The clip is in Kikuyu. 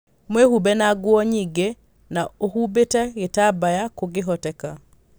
Mwĩhumbe na nguo nyĩingĩ na ũhumbĩte gĩtambaya kũngĩhoteka.